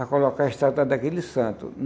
a colocar a estátua daquele santo.